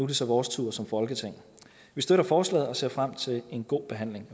det så vores tur som folketing vi støtter forslaget og ser frem til en god behandling